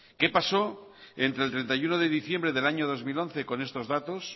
qué pasó entre el treinta y uno de diciembre del año dos mil once con estos datos